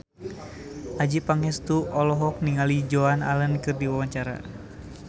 Adjie Pangestu olohok ningali Joan Allen keur diwawancara